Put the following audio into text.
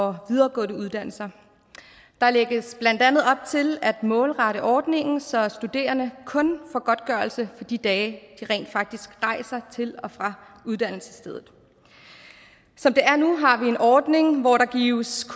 og videregående uddannelser der lægges blandt andet op til at målrette ordningen så studerende kun får godtgørelse for de dage de rent faktisk rejser til og fra uddannelsesstedet som det er nu har vi en ordning hvor der gives